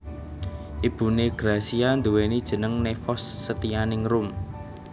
Ibuné Gracia nduweni jeneng Nevos Setyaningrum